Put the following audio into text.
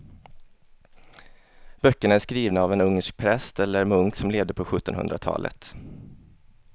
Böckerna är skrivna av en ungersk präst eller munk som levde på sjuttonhundratalet.